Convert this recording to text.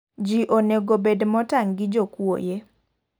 Ji onego obed motang' gi jokuoye.